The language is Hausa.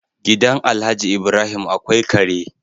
Gidan Alhaji Ibrahim akwai Kare